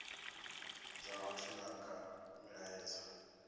dza vhathu na kha milaedza